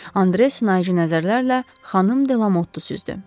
Andre sınaycı nəzərlərlə xanım Delamottu süzdü.